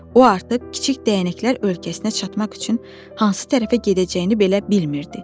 O artıq kiçik dəyənəklər ölkəsinə çatmaq üçün hansı tərəfə gedəcəyini belə bilmirdi.